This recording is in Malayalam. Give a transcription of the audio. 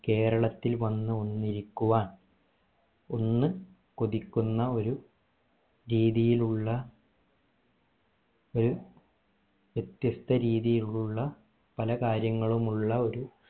കേരളത്തിൽ വന്ന് ഒന്നിരിക്കുവാൻ ഒന്ന് കൊതിക്കുന്ന ഒരു രീതിയിൽ ഉള്ള ഒരു വ്യത്യസ്ത രീതിയിൽ ഉള്ള പലകാര്യങ്ങളും ഉള്ള ഒരു